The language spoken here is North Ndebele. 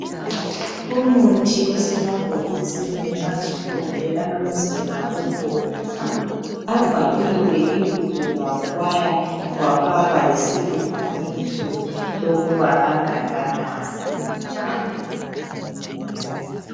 Umuthi osemabhokisini amhlophe alomzila obomvu. Abhaliwe ibizo lawo kwaya kwafakwa lesilinganiso sokuba angakanani.